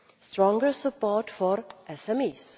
stronger support for SMEs